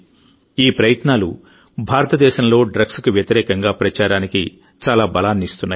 ఈ ప్రయత్నాలు భారతదేశంలో డ్రగ్స్కు వ్యతిరేకంగా ప్రచారానికి చాలా బలాన్ని ఇస్తున్నాయి